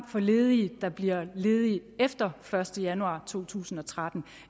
for ledige der bliver ledige efter første januar to tusind og tretten